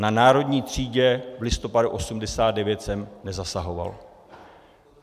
Na Národní třídě v listopadu 1989 jsem nezasahoval.